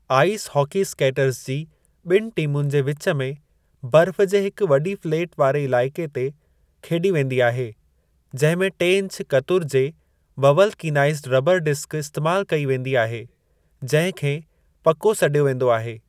Ice hockey skaters जी ॿिनि टीमुनि जे विचु में बर्फ़ जे हिक वॾी फ़्लैट वारे इलाइक़े ते खेॾी वेंदी आहे जंहिं में टे इंच कतुर जे ववलकीनाइज़ड रबर डिस्क इस्तेमाल कई वेंदी आहे जंहिं खे पको सॾियो वेंदो आहे।